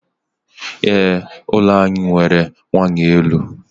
Ee, ụlọ anyị nwere waya elu.